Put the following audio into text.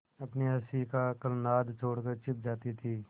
अपनी हँसी का कलनाद छोड़कर छिप जाती थीं